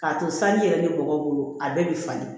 K'a to sanji yɛrɛ bɛ bɔgɔ bolo a bɛɛ bɛ falen